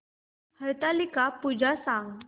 हरतालिका पूजा सांग